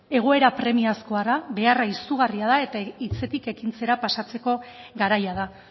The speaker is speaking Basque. egoera premiazkoa da beharra izugarria da eta hitzetik ekintzara pasatzeko garaia da